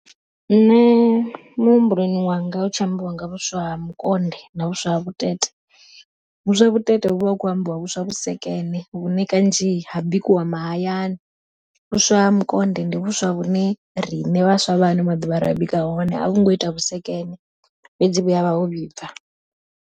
Nṋe muhumbuloni wanga hu tshi ambiwa nga vhuswa ha mukonde na vhuswa ha vhutete, vhuswa vhutete huvha hu kho ambiwa vhuswa vhusekene vhune kanzhi ha bikiwa mahayani. Vhuswa ha mukonde ndi vhuswa vhune riṋe vhaswa vha ano maḓuvha ri bika hone a vhungo ita vhusekene fhedzi vhuya vha ho vhibva.